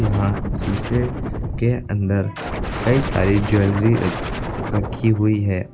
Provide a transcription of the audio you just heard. यहां शीशे के अंदर कई सारी ज्वेलरी र रखी हुई है।